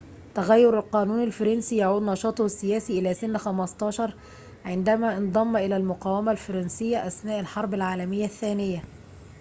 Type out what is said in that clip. تغير القانون الفرنسي يعود نشاطه السياسي إلى سن 15 عندما انضم إلى المقاومة الفرنسية أثناء الحرب العالمية الثانية